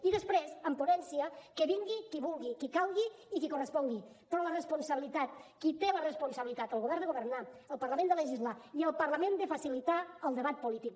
i després en ponència que vingui qui vulgui qui calgui i qui correspongui però la responsabilitat qui té la responsabilitat el govern de governar el parlament de legislar i el parlament de facilitar el debat polític